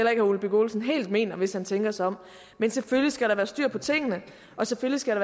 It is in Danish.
herre ole birk olesen helt mener hvis han tænker sig om men selvfølgelig skal der være styr på tingene og selvfølgelig skal